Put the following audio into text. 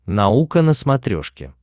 наука на смотрешке